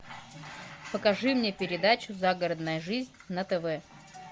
покажи мне передачу загородная жизнь на тв